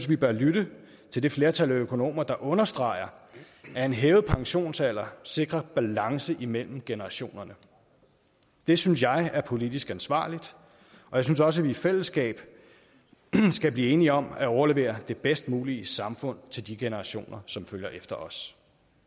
vi bør lytte til det flertal af økonomer der understreger at en hævet pensionsalder sikrer balance imellem generationerne det synes jeg er politisk ansvarligt og jeg synes også at vi i fællesskab skal blive enige om at overlevere det bedst mulige samfund til de generationer som følger efter os